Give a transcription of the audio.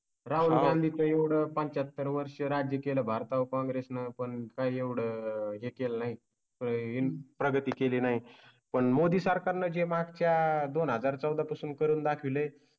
राहुल गांधींच्या एवढं पाचत्तर वर्ष राज्य केलं. भारता वर काँग्रेस नं. आपण काही एवढा हे कळेल नाही, इन प्रगती केली नाही पण मोदी सरकारने जे मागच्या दोन हजार चौदाह पासून करून दाखविले